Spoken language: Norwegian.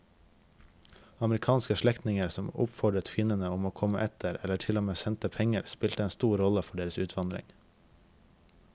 Amerikanske slektninger som oppfordret kvinnene om å komme etter eller til og med sendte penger spilte en stor rolle for deres utvandring.